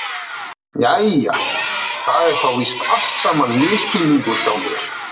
Jæja, það er þá víst allt saman misskilningur hjá mér.